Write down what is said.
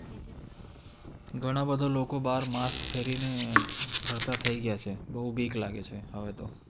ઘણા બધા લોકો બહાર mask પહેરની ફરતા થઇ ગયા છે બોવ બીક લાગે છે હવે તો